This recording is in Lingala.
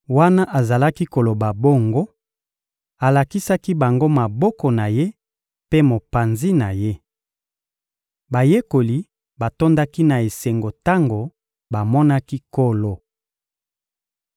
Wana azalaki koloba bongo, alakisaki bango maboko na Ye mpe mopanzi na Ye. Bayekoli batondaki na esengo tango bamonaki Nkolo.